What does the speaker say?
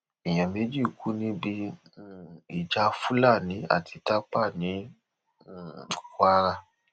èèyàn méjì kú níbi um ìjà fúlàní àti tápà ní um kwara